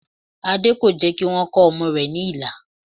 Adé kò jẹ́ kí wọ́n kọ ọmọ rẹ̀ ní ilà